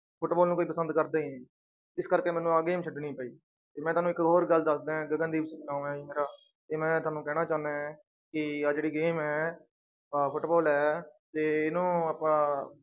Football ਨੂੰ ਕੋਈ ਪਸੰਦ ਕਰਦਾ ਹੀ ਨੀ ਇਸ ਕਰਕੇ ਮੈਨੂੰ ਆਹ game ਛੱਡਣੀ ਪਈ ਤੇ ਮੈਂ ਤੁਹਾਨੂੰ ਇੱਕ ਹੋਰ ਗੱਲ ਦੱਸਦਾਂ ਹੈ ਗਗਨਦੀਪ ਨਾਂ ਹੈ ਜੀ ਮੇਰਾ ਤੇ ਮੈਂ ਤੁਹਾਨੂੰ ਕਹਿਣਾ ਚਾਹੁਨਾ ਹੈ ਕਿ ਆਹ ਜਿਹੜੀ game ਹੈ ਆਹ ਫੁਟਬਾਲ ਹੈ ਤੇ ਇਹਨੂੰ ਆਪਾਂ।